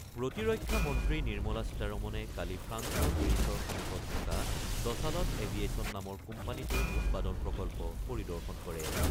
প্ৰতিৰক্ষা মন্ত্ৰী নিৰ্মলা সীতাৰমণে কালি ফ্ৰান্সৰ পেৰিচৰ সমীপত থকা ডছালট এভিয়েছন নামৰ কোম্পানীটোৰ উৎপাদন প্ৰকল্প পৰিদৰ্শন কৰে।